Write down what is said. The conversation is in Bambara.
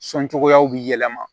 Sɔn cogoyaw bi yɛlɛma